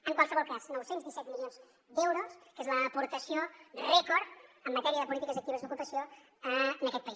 en qualsevol cas nou cents i disset milions d’euros que és l’aportació rècord en matèria de polítiques actives d’ocupació en aquest país